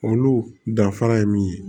Olu danfara ye min ye